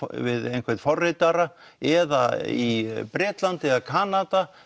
við einhvern forritara eða í Bretlandi eða Kanada